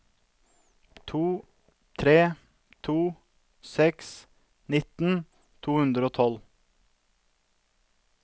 to tre to seks nitten to hundre og tolv